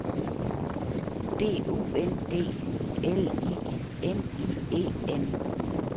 B U N D L I N I E N